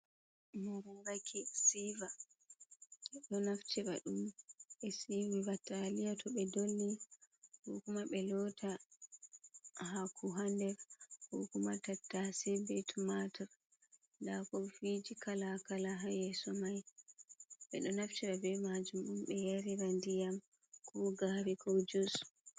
"Mararraki" siva ɓeɗo naftira ɗum ɓe siwira taliya to ɓe dolli ko kuma ɓe lota hako ha nder ko kuma tattase ɓe tumatur nɗa kofiji kala kala ha yeso mai ɓeɗo naftira ɓe majum on ɓe yarira nɗiyam ko gari ko jus.